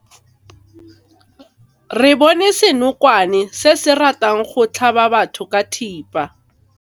Re bone senokwane se se ratang go tlhaba batho ka thipa.